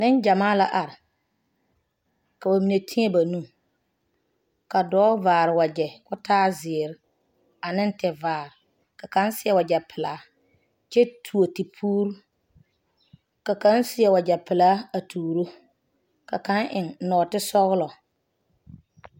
Nengyamaa la are ka ba mine tee ba nuuri, dɔɔ vaare la wagyɛ. kɔɔ taa zeɛre ane tevaare ka kaŋ seɛ wagyɛ pelaa kyɛ tuo tepuuri ka kaŋ. seɛ wagyɛ pelaa a tuuro ka kaŋ. eŋe nɔɔte sɔglɔ.